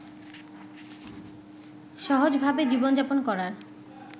সহজভাবে জীবনযাপন করার